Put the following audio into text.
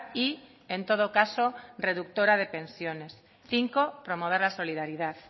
y en todo caso reductora de pensiones cinco promover la solidaridad